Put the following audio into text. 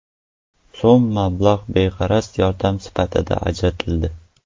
so‘m mablag‘ beg‘araz yordam sifatida ajratildi.